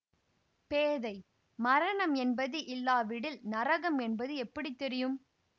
பேதை மரணம் என்பது இல்லாவிடில் நரகம் என்பது எப்படி தெரியும்